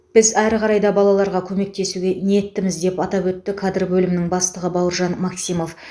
біз әрі қарай да балаларға көмектесуге ниеттіміз деп атап өтті кадр бөлімінің бастығы бауыржан максимов